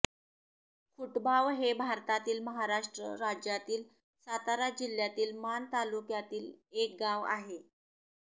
खुटबाव हे भारतातील महाराष्ट्र राज्यातील सातारा जिल्ह्यातील माण तालुक्यातील एक गाव आहे